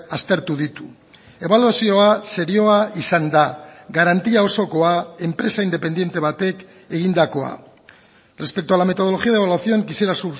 aztertu ditu ebaluazioa serioa izan da garantia osokoa enpresa independente batek egindakoa respecto a la metodología de evaluación quisiera